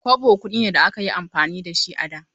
Kobo kuɗi ne da aka yi amfani da shi a da.